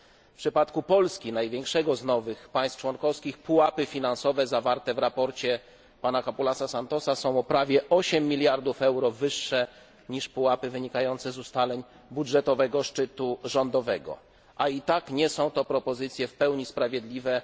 W przypadku Polski największego z nowych państw członkowskich pułapy finansowe zawarte w sprawozdaniu pana Capoulasa Santosa są o prawie 8 mld euro wyższe niż pułapy wynikające z ustaleń budżetowego szczytu rządowego a i tak nie są to propozycje w pełni sprawiedliwe.